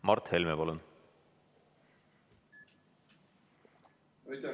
Mart Helme, palun!